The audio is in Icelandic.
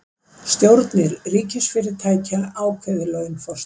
Stjórnir ríkisfyrirtækja ákveði laun forstjóra